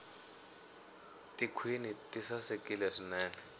tikhwini ti sasekile swinene